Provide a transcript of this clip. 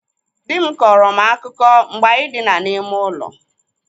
Dị m kọọrọ m akụkọ mgbe anyị dina n'ime ụlọ.